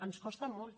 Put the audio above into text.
ens costa molt